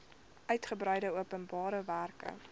uigebreide openbare werke